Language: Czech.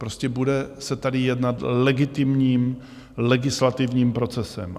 Prostě bude se tady jednat legitimním legislativním procesem.